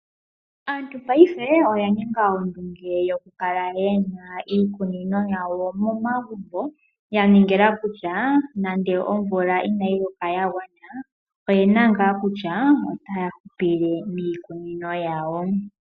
Aantu paife oya ninga ondunge yokukala yena iikunino yawo momagumbo, yaningila kutya ngele omvula inayi loka yagwana oyena ngaa kutya otaya hupile miikunino yawo.